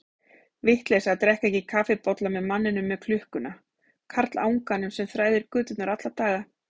Vitleysa að drekka ekki kaffibolla með manninum með klukkuna, karlanganum sem þræðir göturnar alla daga.